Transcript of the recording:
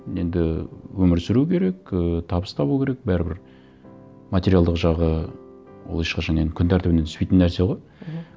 енді өмір сүру керек ыыы табыс табу керек бәрібір материалдық жағы ол ешқашан енді күн тәртібінен түспейтін нәрсе ғой мхм